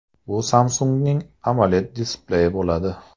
Bu Samsung‘ning AMOLED displeyi bo‘ladi.